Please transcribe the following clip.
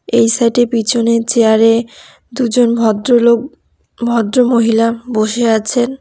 এই সাইডের পিছনের চেয়ারে দুজন ভদ্রলোক ভদ্রমহিলা বসে আছেন।